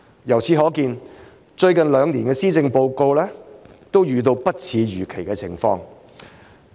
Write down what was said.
由此可見，最近兩年的施政報告都遇到不似預期的情況。